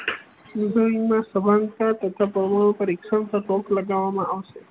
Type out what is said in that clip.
ના સભાનતા તથા પરમાણુ પરીક્ષણ લગાવવામાં આવશે